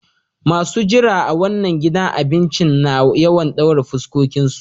Masun jira a wanan gidan abincin na yawan daurin fuskokin su.